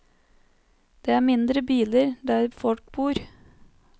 Det er mindre biler der folk bor.